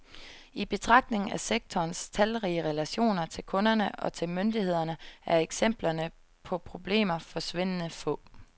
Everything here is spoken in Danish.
I betragtning af sektorens talrige relationer til kunderne og til myndighederne er eksemplerne på problemer forsvindende få.